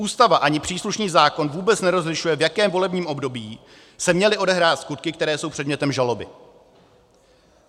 Ústava ani příslušný zákon vůbec nerozlišují, v jakém volebním období se měly odehrát skutky, které jsou předmětem žaloby.